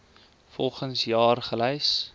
volgens jaar gelys